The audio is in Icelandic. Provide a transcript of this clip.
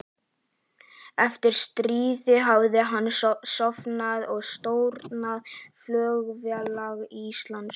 Eftir stríð hafði hann stofnað og stjórnað Flugfélagi Íslands